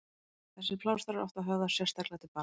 Þessir plástrar áttu að höfða sérstaklega til barna.